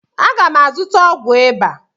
Aga m azụta ọgwụ ịba.